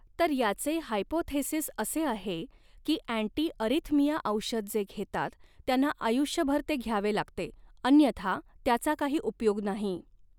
तर याचे हायपोथेसिस असे आहे की अँटी अऱ्हिथमिया औषध जे घेतात त्यांना आयुष्यभर ते घ्यावे लागते अन्यथा त्याचा काही उपयोग नाही.